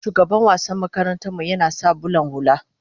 shugaban wassan makaranta mu yana sa bulan hulla